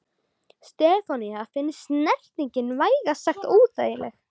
Stefáni fannst snertingin vægast sagt óþægileg.